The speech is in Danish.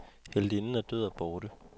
Heltinden er død og borte.